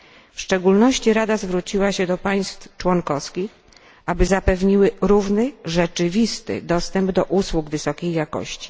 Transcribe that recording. W szczególności Rada zwróciła się do państw członkowskich, aby zapewniły równy rzeczywisty dostęp do usług wysokiej jakości.